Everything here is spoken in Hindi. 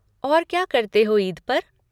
और क्या करते हो ईद पर?